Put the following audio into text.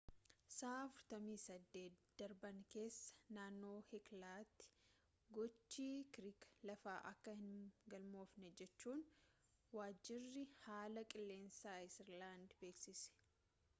sa'aa 48 darban keessa naannoo heeklaatti gochi kirkira lafaa akka hin galmoofne jechuun waajjirri haala qilleensaa aayislaandii beeksise